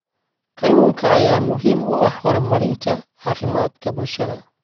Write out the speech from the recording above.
Kalluunka ayaa muhiim u ah horumarinta caafimaadka bulshada.